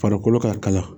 Farikolo ka kalaya